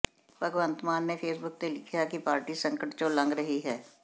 ਭਗਵੰਤ ਮਾਨ ਨੇ ਫ਼ੇਸਬੁੱਕ ਤੇ ਲਿਖਿਆ ਹੈ ਕਿ ਪਾਰਟੀ ਸੰਕਟ ਚੋਂ ਲੰਘ ਰਹੀ ਹੈ